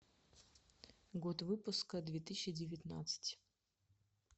год выпуска две тысячи девятнадцать